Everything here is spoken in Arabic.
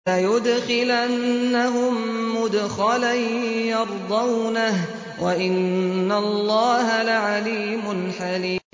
لَيُدْخِلَنَّهُم مُّدْخَلًا يَرْضَوْنَهُ ۗ وَإِنَّ اللَّهَ لَعَلِيمٌ حَلِيمٌ